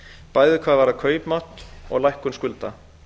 bæði hvað varðar kaupmátt og lækkun skulda